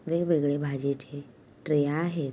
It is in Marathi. विभिन प्रकार की भछी की ट्रे यहाँ है।